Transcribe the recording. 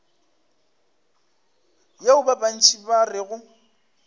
yeo ba bantši ba rego